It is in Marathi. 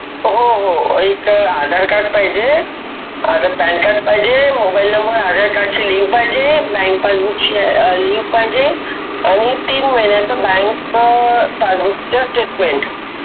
हो हो एक आधार कार्ड पाहिजे आणि पॅनकार्ड पाहिजे मोबाइल नंबर आधार कार्ड ला लिंक पाहिजे आणि तीन महिन्याचा बँक पासबुक स्टेटमेंट